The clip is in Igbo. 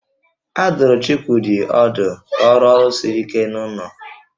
A dụrụ Chukwudị ọdụ ka ọ rụọ ọrụ siri ike n'ụlọ